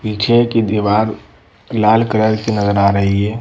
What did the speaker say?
पीछे की दीवार लाल कलर की नजर आ रही है।